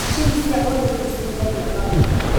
Mashini cia ũrĩmi nĩ cihũthagia maũndũ